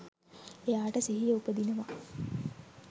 එයාට සිහිය උපදිනවා.